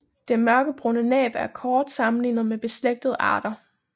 Det mørkebrune næb er kort sammenlignet med beslægtede arter